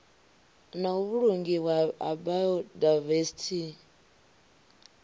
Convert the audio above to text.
na u vhulungiwa ha biodivesithi